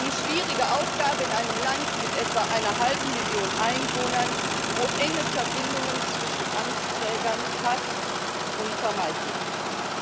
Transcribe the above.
Eine schwierige Aufgabe in einem Land mit etwa einer halben Million Einwohnern, wo enge Verbindungen zwischen Amtsträgern fast unvermeidlich sind.